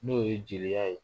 N'o ye jeliya ye